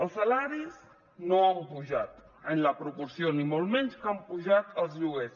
els salaris no han pujat en la proporció ni molt menys que han pujat els lloguers